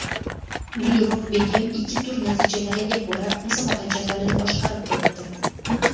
Gulruhbegim ikki tur natijalariga ko‘ra, musobaqa jadvalini boshqarib turibdi.